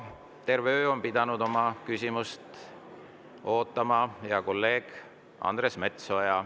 Terve öö on pidanud küsimist ootama hea kolleeg Andres Metsoja.